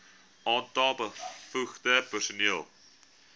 aantal bevoegde personeel